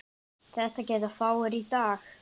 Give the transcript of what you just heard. Það geta fáir í dag.